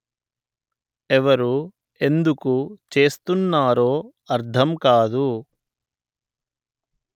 ఎవరు ఎందుకు చేస్తున్నారో అర్థం కాదు